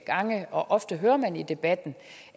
gange og ofte hører man i debatten